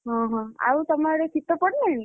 ଓହୋ ଆଉ ତମ ଆଡେ ଶୀତ ପଡିଲାଣି?